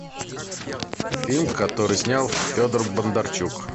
фильм который снял федор бондарчук